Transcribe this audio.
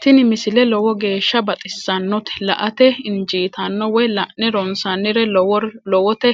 tini misile lowo geeshsha baxissannote la"ate injiitanno woy la'ne ronsannire lowote